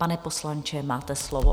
Pane poslanče, máte slovo.